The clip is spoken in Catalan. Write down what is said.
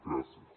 gràcies